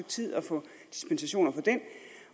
tid at få dispensation fra den